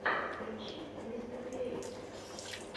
включи мистэкриэйтэ